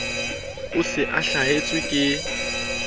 o se o hlahetswe ke